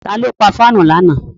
Ta ló pa fáànù lánàá?